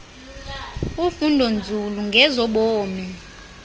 ufundo nzulo ngezobomi